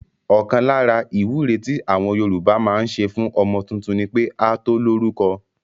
Ọkàn lára ìwúre tí àwọn Yorùbá máa ń ṣe fún ọmọ tuntun ni pé a tó lórúko